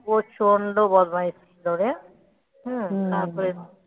হ্যাঁ প্রচন্ড বদমাইশ ছিল রে তারপরে তোর,